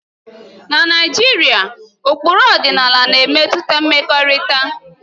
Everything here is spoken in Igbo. Na Naijiria, ụkpụrụ ọdịnala na-emetụta mmekọrịta